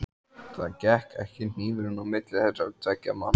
Það gekk ekki hnífurinn á milli þessara tveggja manna.